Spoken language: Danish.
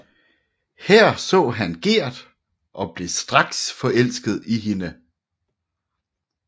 Her så han Gerd og blev straks forelsket i hende